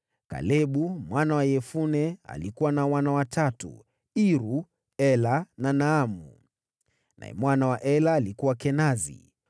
Kalebu mwana wa Yefune alikuwa na wana watatu: Iru, Ela na Naamu. Naye mwana wa Ela alikuwa: Kenazi.